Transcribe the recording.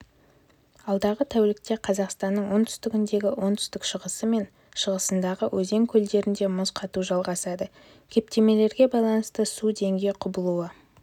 алдағы тәулікте қазақстанның оңтүстігіндегі оңтүстік-шығысы мен шығысындағы өзен-көлдерінде мұз қату жалғасады кептемелерге байланысты су деңгей құбылуы